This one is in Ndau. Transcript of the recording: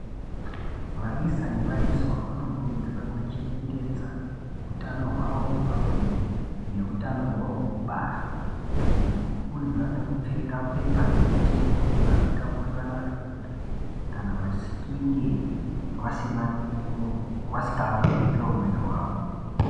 Vaisa nevaiswa vanokurudzirwa kuchengetedza hutano hwavo hwepabonde nehutano hwavo hwekubara nekukurudzirwa nekupfeka bepa rebutiro kuti vasatapurirana zvirwere kana vachinge vasingavimbi ngeumweni wavo.